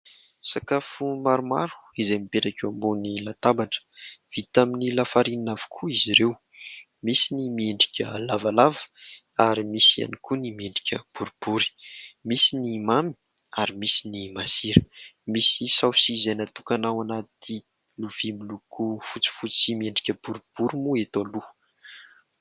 Sakafo maromaro izay mipetraka eo ambony latabatra, vita amin'ny lafarinina avokoa izy ireo. Misy ny miendrika lavalava ary misy ihany koa ny miendrika boribory. Misy ny mamy ary misy ny masira. Misy saosy izay natokana ho anaty lovia miloko fotsifotsy miendrika boribory moa eto aloha.